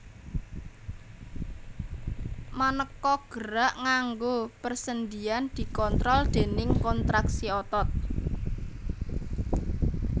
Manéka gerak nganggo persendian dikontrol déning kontraksi otot